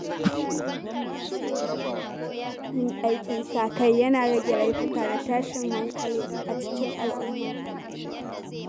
Yin aikin sa-kai yana rage laifuka da tashin hankali a cikin al’umma.